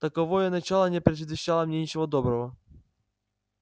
таковое начало не предвещало мне ничего доброго